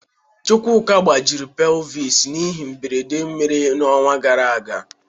Chukwuka gbajiri pelvis n'ihe mberede mere n'ọnwa gara aga.